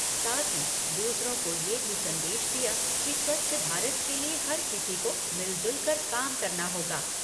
साथ ही दूसरों को ये भी संदेश दिया कि स्वच्छ भारत के लिए हर किसी को मिलजुल कर काम करना होगा।